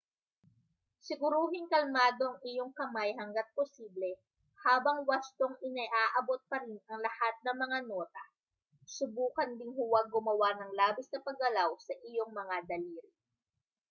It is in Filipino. siguruhing kalmado ang iyong kamay hangga't posible habang wastong inaabot pa rin ang lahat ng mga nota subukan ding huwag gumawa ng labis na paggalaw sa iyong mga daliri